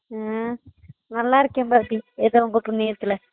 ஆஹ் நல்லா இருக்கேன் பாபி ஏதோ உங்க புண்ணியத்துல